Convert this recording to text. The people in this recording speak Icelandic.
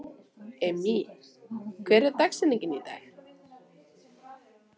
Immý, hver er dagsetningin í dag?